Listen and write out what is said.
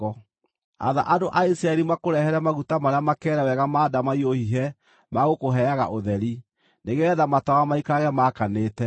“Atha andũ a Isiraeli makũrehere maguta marĩa makeere wega ma ndamaiyũ hihe ma gũkũheaga ũtheri, nĩgeetha matawa maikarage maakanĩte.